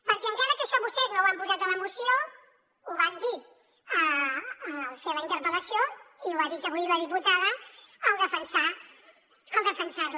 perquè encara que això vostès no ho han posat a la moció ho van dir al fer la inter·pel·lació i ho ha dit avui la diputada al defensar·la